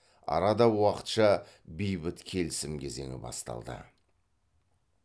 арада уақытша бейбіт келісім кезеңі басталды